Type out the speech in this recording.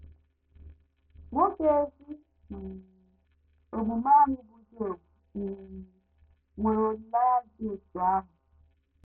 Nwoke ezi um omume ahụ bụ́ Job um nwere olileanya dị otú ahụ.